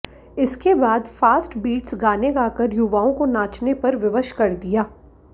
इसके बाद fast beats गाने गाकर युवाआें को नाचने पर विवश कर दिया